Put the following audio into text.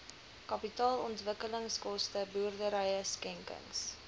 kapitaalontwikkelingskoste boerdery skenkings